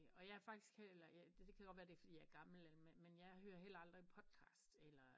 Og jeg er faktisk heller det kan være fordi jeg er gammel men jeg hører heller aldrig podcast eller